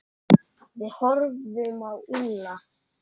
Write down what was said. Við horfðum á Úlla.